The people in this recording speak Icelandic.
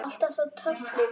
Alltaf svo töff líka.